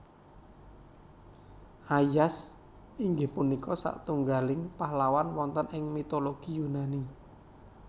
Aias inggih punika satunggaling pahlawan wonten ing mitologi Yunani